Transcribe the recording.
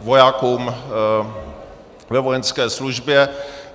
vojákům ve vojenské službě.